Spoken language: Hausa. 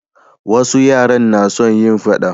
wasu yara na son yin faɗa